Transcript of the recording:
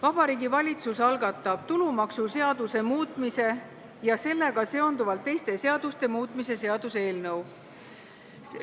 Vabariigi Valitsus algatab tulumaksuseaduse muutmise ja sellega seonduvalt teiste seaduste muutmise seaduse eelnõu.